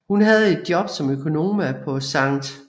Hun havde job som økonoma på Sct